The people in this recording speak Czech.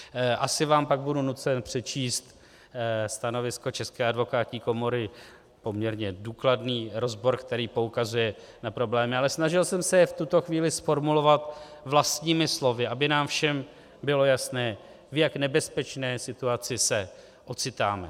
Asi vám pak budu nucen přečíst stanovisko České advokátní komory, poměrně důkladný rozbor, který poukazuje na problémy, ale snažil jsem se je v tuto chvíli zformulovat vlastními slovy, aby nám všem bylo jasné, v jak nebezpečné situaci se ocitáme.